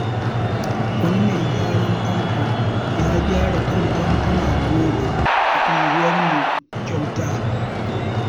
Wani mai gyaran famfo ya gyara kan famfuna goma a unguwarmu kyauta.